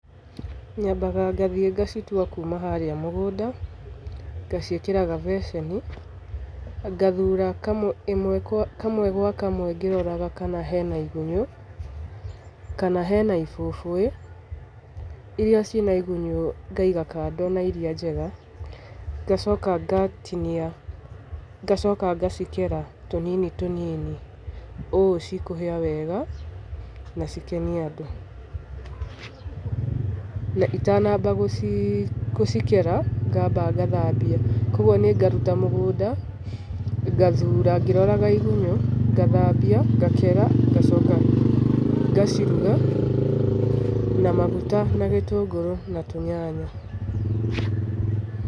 Nyambaga ngathiĩ ngacitua kuuma harĩa mũgũnda, ngaciĩkĩra gabeceni, ngathura kamwe gwa kamwe ngĩroraga kana hena igunyũ, kana hena ibũbũĩ. Iria ciĩ na igunyũ ngaiga kando na iria njega, ngacoka ngacikera tũnini tũnini ũũ cikũhĩa wega na cikenie andũ. Na itanamba gũcikera, ngamba ngathambia. Kwoguo nĩ ngaruta mũgũnda, ngathura ngĩroraga igunyũ, ngathambia, ngakera, ngacoka ngaciruga na maguta, na gĩtũngũrũ, na tũnyanya.